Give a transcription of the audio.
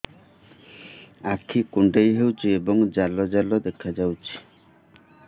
ଆଖି କୁଣ୍ଡେଇ ହେଉଛି ଏବଂ ଜାଲ ଜାଲ ଦେଖାଯାଉଛି